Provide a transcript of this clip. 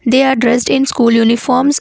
they are dressed in school uniforms.